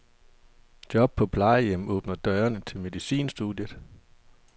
Job på plejehjem åbner døren til medicinstudiet.